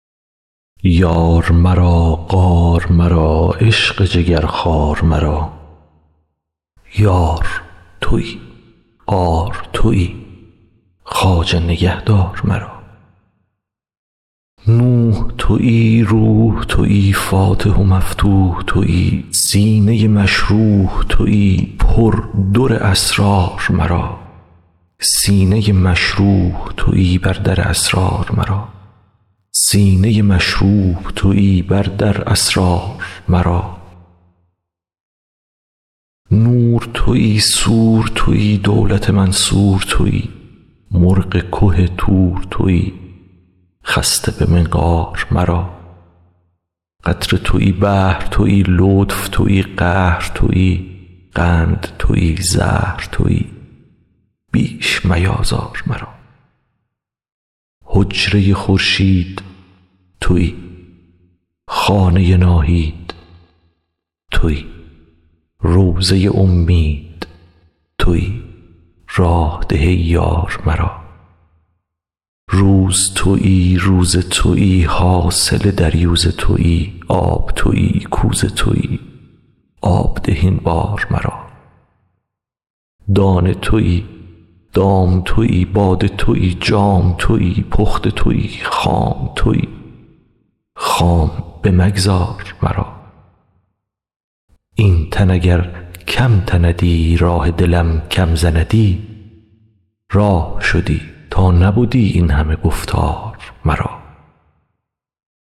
یار مرا غار مرا عشق جگرخوار مرا یار تویی غار تویی خواجه نگهدار مرا نوح تویی روح تویی فاتح و مفتوح تویی سینه مشروح تویی بر در اسرار مرا نور تویی سور تویی دولت منصور تویی مرغ که طور تویی خسته به منقار مرا قطره تویی بحر تویی لطف تویی قهر تویی قند تویی زهر تویی بیش میآزار مرا حجره خورشید تویی خانه ناهید تویی روضه امید تویی راه ده ای یار مرا روز تویی روزه تویی حاصل دریوزه تویی آب تویی کوزه تویی آب ده این بار مرا دانه تویی دام تویی باده تویی جام تویی پخته تویی خام تویی خام بمگذار مرا این تن اگر کم تندی راه دلم کم زندی راه شدی تا نبدی این همه گفتار مرا